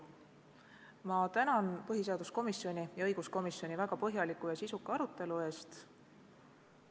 Ma tänan põhiseaduskomisjoni ja õiguskomisjoni väga põhjaliku ja sisuka arutelu eest.